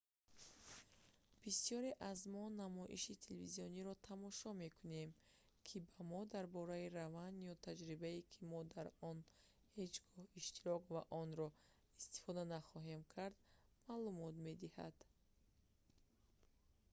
бисёре аз мо намоиши телевизиониеро тамошо мекунем ки ба мо дар бораи раванд ё таҷрибае ки мо дар он ҳеҷ гоҳ иштирок ва онро истифода нахоҳем кард маълумот медиҳад